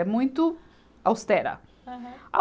É muito austera. Aham.